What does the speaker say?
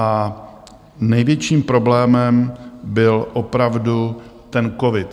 A největším problémem byl opravdu ten covid.